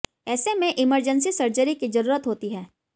ऐसे में emergency surgery की ज़रूरत होती है